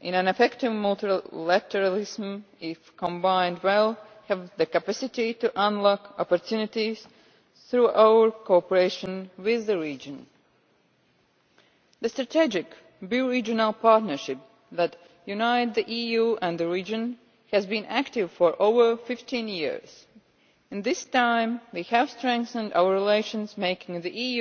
in an effective multilateralism if combined well have the capacity to unlock opportunities through our cooperation with the region. The strategic bi regional partnership that unites the EU and the region has been active for over 15 years. In this time, we have strengthened our relations, making the